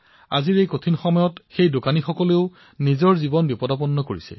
আজিৰ এই কঠিন পৰিস্থিতিৰ সময়ছোৱাতো তেওঁ কাম কৰি আছে